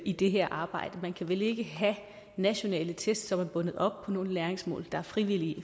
i det her arbejde man kan vel ikke have nationale test som er bundet op på nogle læringsmål der er frivillige